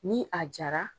Ni a jara